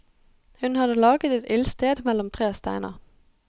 Hun hadde laget et ildsted mellom tre steiner.